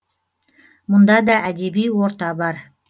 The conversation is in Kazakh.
мұнда да әдеби орта бар